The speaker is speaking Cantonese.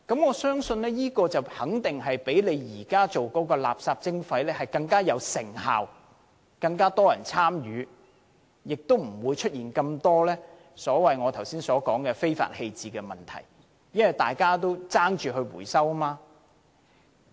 我相信這些方法肯定會較現在擬進行的垃圾徵費更有成效，會有更多人參與，亦不會出現那麼多我剛才所說的非法棄置垃圾的問題，因為大家會爭相回收廢物。